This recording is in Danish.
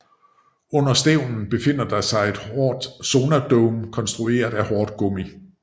Under stævnen befinder der sig en sonardome konstrueret af hårdt gummi